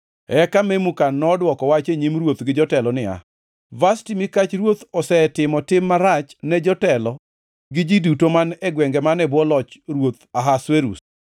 Eka Memukan nodwoko wach e nyim ruoth gi jotelo niya, “Vashti mikach ruoth osetimo tim marach ne jotelo gi ji duto man e gwenge man e bwo loch ruoth Ahasuerus.